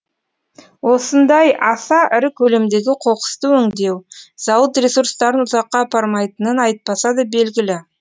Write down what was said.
осындай аса ірі көлемдегі қоқысты өңдеу зауыт ресурстарын ұзаққа апармайтынын айтпаса да белгілі